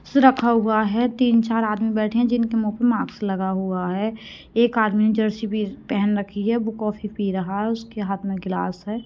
रखा हुआ है तीन चार आदमी बैठे हैं जिनके मुह पर मास्क लगा हुआ है एक आदमी ने जर्सी पहन रखी है वो कॉफी पी रहा है उसके हाथ मे गिलास है।